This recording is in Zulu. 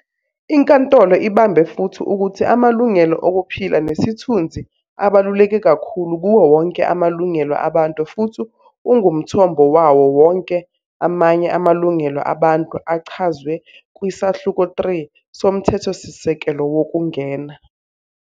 Inkantolo ibambe futhi ukuthi amalungelo okuphila nesithunzi abaluleke kakhulu kuwo wonke amalungelo abantu futhi ungumthombo wawo wonke amanye amalungelo abantu achazwe kwiSahluko 3 soMthethosisekelo Wokungena.